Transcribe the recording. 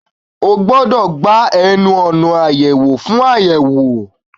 O gbọdọ̀ gba ẹnu ọ̀nà àyẹwò fún àyẹ̀wò